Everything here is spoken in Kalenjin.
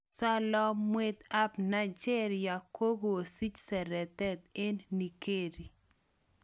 Salamwet apNigeria k kokosich seretet en nigeri